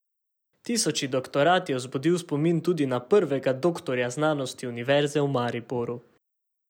Tisoči doktorat je vzbudil spomin tudi na prvega doktorja znanosti Univerze v Mariboru.